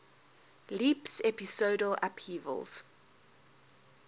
leaps episodal upheavals